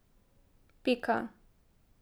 Pika.